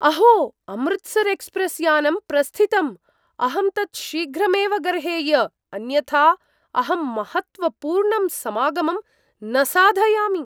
अहो, अमृतसर् एक्स्प्रेस् यानं प्रस्थितम्, अहं तत् शीघ्रमेव गर्हेय, अन्यथा अहम् महत्त्वपूर्णं समागमं न साधयामि!